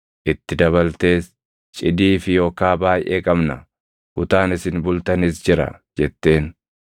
Itti dabaltees, “Cidii fi okaa baayʼee qabna; kutaan isin bultanis jira” jetteen.